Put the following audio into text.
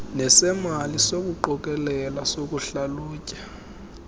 nesemali sokuqokelela sokuhlalutya